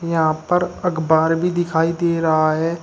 यहां पर अकबार भी दिखाई दे रहा है।